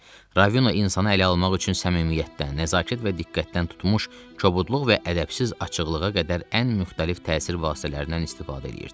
Ravino insanı ələ almaq üçün səmimiyyətdən, nəzakət və diqqətdən tutmuş, kobudluq və ədəbsiz açıqlığa qədər ən müxtəlif təsir vasitələrindən istifadə eləyirdi.